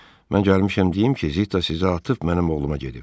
Mən gəlmişəm deyim ki, Zitta sizi atıb mənim oğluma gedib.